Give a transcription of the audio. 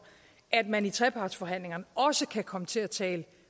at man i trepartsforhandlingerne også kan komme til at tale